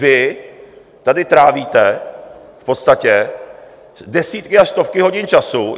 Vy tady trávíte v podstatě desítky až stovky hodin času.